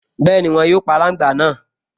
Bẹ́ẹ̀ni, wọn yóò pa aláǹgbá náà